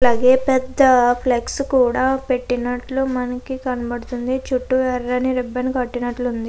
లగె పెద్ద ఫ్లెక్స్ కూడా పెట్టినట్టు మనకి కనబడుతుంది చుట్టూ ఎర్రని రిబ్బన్ కట్టినట్లు ఉంది.